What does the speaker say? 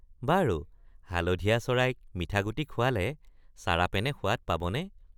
বাৰু হালধীয়া চৰাইক মিঠাগুটি খুৱালে চাৰাপেনে সোৱাদ পাবনে?